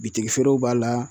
Bitigi feerew b'a la